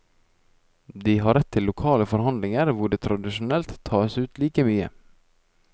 De har rett til lokale forhandlinger hvor det tradisjonelt tas ut like mye.